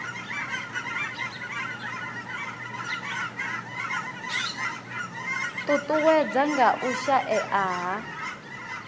ṱuṱuwedzwa nga u shaea ha